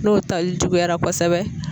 N'o tali juguyara kosɛbɛ